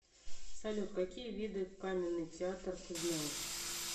салют какие виды каменный театр ты знаешь